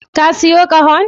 Ka sayo ƙahon?